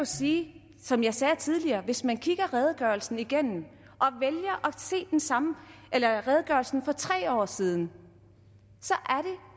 sige som jeg sagde tidligere hvis man kigger redegørelsen igennem at se den sammen med redegørelsen for tre år siden